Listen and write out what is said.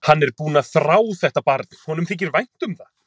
Hann er búinn að þrá þetta barn, honum þykir vænt um það.